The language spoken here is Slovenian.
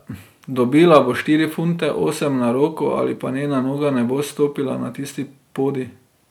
Dobila bo štiri funte osem na roko, ali pa njena noga ne bo stopila na tisti podij.